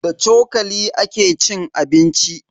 Da cokali ake cin abinci.